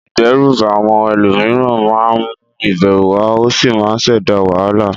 Ìdẹ́rùbà àwọn ẹlòmíràn máa ń mú ìbẹ̀rù wá ó sì máa ń ṣẹ̀dá wàhálà.